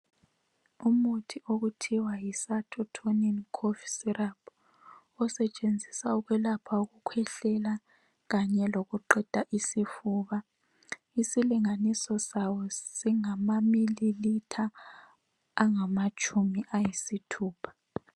Umuthi okuthiwa yiTonin cough syrup osetshenziswa ukwelapha ukukhwehlela kanye lokuqeda isifuba. Isilinganiso sawo singamamililitha angamatshumi ayisithupha.